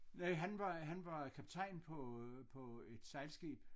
Nej han var han var kaptajn på på et sejlskib